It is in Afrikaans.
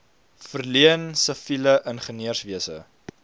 verleen siviele ingenieurswese